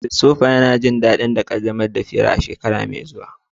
Christopher yana jin daɗin ƙaddamar da hirar a shekara mai zuwa.